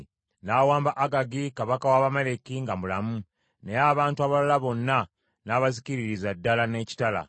N’awamba Agagi kabaka w’Abamaleki nga mulamu, naye abantu abalala bonna n’abazikiririza ddala n’ekitala.